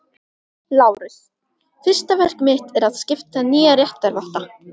LÁRUS: Fyrsta verk mitt er að skipa nýja réttarvotta.